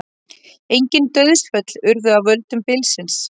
Engin dauðsföll urðu af völdum bylsins